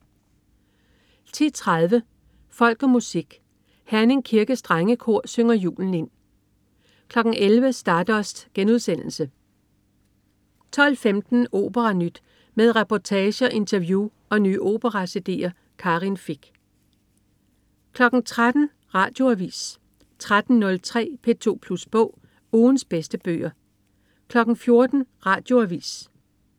10.30 Folk og Musik. Herning Kirkes Drengekor synger julen ind 11.00 Stardust* 12.15 OperaNyt. Med reportager, interview og nye opera-cd'er. Karin Fich 13.00 Radioavis 13.03 P2 Plus Bog. Ugens bedste bøger 14.00 Radioavis